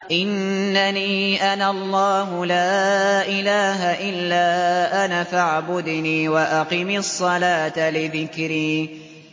إِنَّنِي أَنَا اللَّهُ لَا إِلَٰهَ إِلَّا أَنَا فَاعْبُدْنِي وَأَقِمِ الصَّلَاةَ لِذِكْرِي